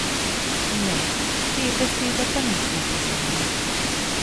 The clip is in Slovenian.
Ne, te besede pa nismo poznali.